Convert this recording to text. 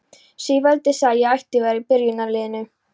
Sigvaldi sagði að ég ætti að vera í byrjunarliðinu!